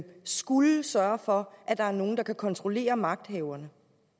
skulle sørge for at der er nogle der kan kontrollere magthaverne